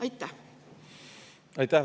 Aitäh!